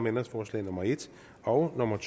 ændringsforslag nummer en og nummer